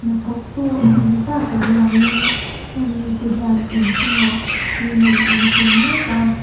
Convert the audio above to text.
hnathawk tu eng emaw zat lo lang in heng mite hian inchungah cement an chhung mek a.